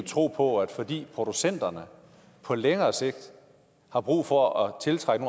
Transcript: tro på at fordi producenterne på længere sigt har brug for at tiltrække